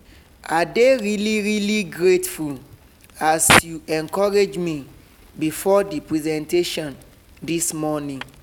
i dey really really grateful as you encourage me before the presentation this morning.